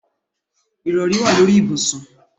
Ìrọrí wà lórí ibùsùn.